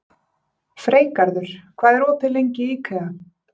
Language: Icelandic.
Freygarður, hvað er opið lengi í IKEA?